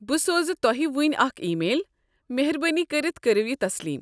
بہٕ سوز تۄہہ وٕنۍ اکھ ای میل۔ مہربٲنی کٔرتھ کٔرو یہ تسلیم۔